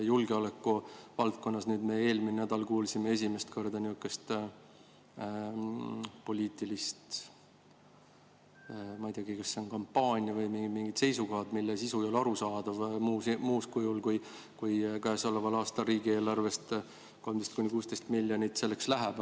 Julgeolekuvaldkonnas me eelmisel nädalal kuulsime esimest korda niisugust poliitilist – ma ei teagi, kas see on kampaania või mingid muud seisukohad –, mille sisu ei ole arusaadav muul kujul, kui et käesoleval aastal riigieelarvest 13–16 miljonit selleks läheb.